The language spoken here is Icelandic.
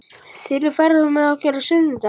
Þinur, ferð þú með okkur á sunnudaginn?